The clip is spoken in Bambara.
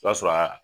O b'a sɔrɔ a